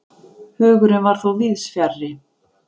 Hugurinn var þó víðs fjarri.